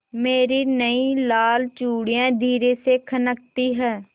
मेरी नयी लाल चूड़ियाँ धीरे से खनकती हैं